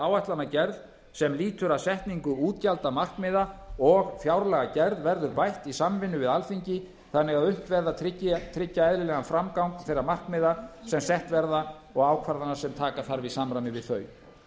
áætlanagerð sem lýtur að setningu útgjaldamarkmiða og fjárlagagerð verður bætt í samvinnu við alþingi þannig að unnt verði að tryggja eðlilegan framgang þeirra markmiða sem sett verða og ákvarðana sem taka þarf í samræmi við þau